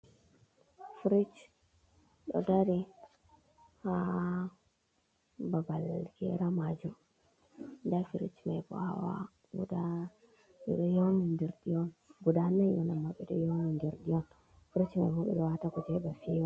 Frish ɗo dari ha babal gera majum, nda frish bana guda ɓeɗo yowndi ndiri ɗum on, frich maibo ɓeɗo wata kuje heba fewa.